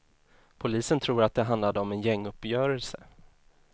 Polisen tror att det handlade om en gänguppgörelse.